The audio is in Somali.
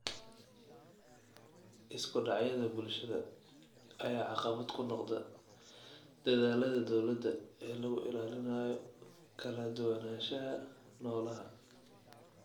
Isku dhacyada bulshada ayaa caqabad ku noqda dadaallada dowladda ee lagu ilaalinayo kala duwanaanshaha noolaha.